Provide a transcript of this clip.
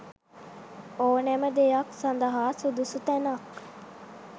ඕනෑම දෙයක් සඳහා සුදුසු තැනක්